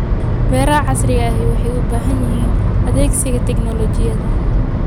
Beeraha casriga ahi waxay u baahan yihiin adeegsiga tignoolajiyada.